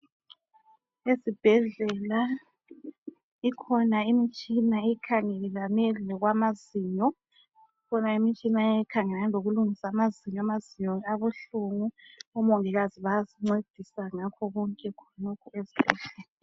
Ezibhedlela ikhona imitshina ekhangelane lokwamazinyo ikhona imitshina ekhangelane lokulungisa amazinyo abuhlungu omongikazi bayasincedisa ngakho konke khonokho ezibhedlela.